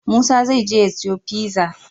Musa zai je ya siyo pizza?